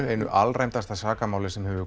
einu alræmdasta sakamáli sem